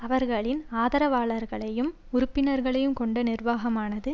அவர்களின் ஆதரவாளர்களையும் உறுப்பினர்களையும் கொண்ட நிர்வாகமானது